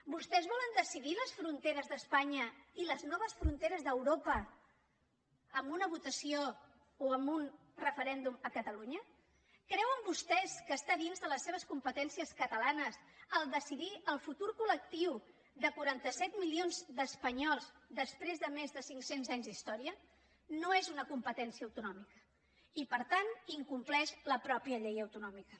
vostès volen decidir les fronteres d’espanya i les noves fronteres d’europa amb una votació o amb un referèndum a catalunya creuen vostès que està dins de les seves competències catalanes decidir el futur col·lectiu de quaranta set milions d’espanyols després de més de cinc cents anys d’història no és una competència autonòmica i per tant incompleix la mateixa llei autonòmica